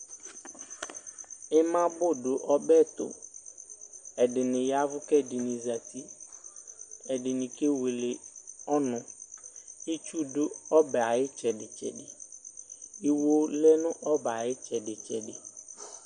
ima bʋ dʋ ɔbɛtʋ, ɛdini yavʋ kʋ ɛdini zati, ɛdini kɛwɛlɛ ɔnʋ, itsʋ dʋ ɔbɛ ayi itsɛdi itsɛdi, iwɔ lɛnʋ ɔbɛ ayi itsɛdi itsɛdi